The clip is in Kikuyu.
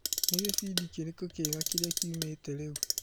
Ni gĩbindi kĩrĩkũ kĩega kĩrĩa kĩumĩte rĩu ?